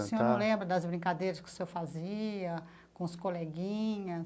E o senhor não lembra das brincadeiras que o senhor fazia com os coleguinhas?